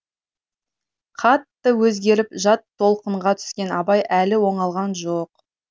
қатты өзгеріп жат толқынға түскен абай әлі оңалған жоқ